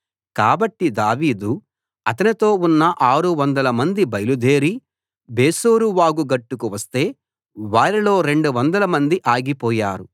కాబట్టి దావీదు అతనితో ఉన్న 600 మంది బయలుదేరి బెసోరు వాగు గట్టుకు వస్తే వారిలో 200 మంది ఆగిపోయారు